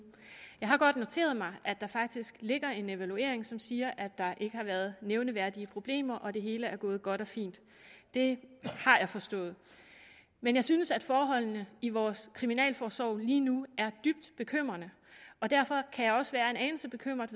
jeg har godt noteret mig at der faktisk ligger en evaluering som siger at der ikke har været nævneværdige problemer og at det hele er gået godt og fint det har jeg forstået men jeg synes at forholdene i vores kriminalforsorg lige nu er dybt bekymrende og derfor kan jeg også være en anelse bekymret